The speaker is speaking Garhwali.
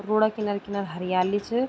रोड अ किनर-किनर हरियाली च।